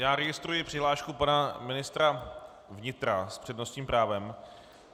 Já registruji přihlášku pana ministra vnitra s přednostním právem.